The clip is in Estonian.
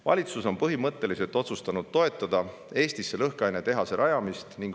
Valitsus on põhimõtteliselt otsustanud toetada Eestisse lõhkainetehase rajamist.